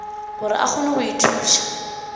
gore a kgone go ithuša